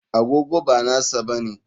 Agogo ba nasa bane.